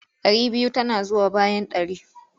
Ɗari biyu tana zuwa bayan ɗari.